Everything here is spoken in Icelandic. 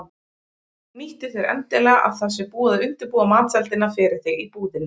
Nýttu þér endilega að það sé búið að undirbúa matseldina fyrir þig í búðinni.